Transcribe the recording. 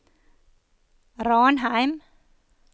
Ranheim